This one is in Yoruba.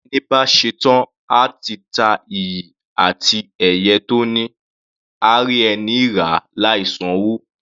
Ẹni bá ṣetán à ti ta iyì àti ẹ̀yẹ tó ní, á rí ẹni ràá láì san'wó.